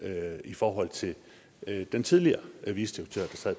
i forhold til den tidligere vicedirektør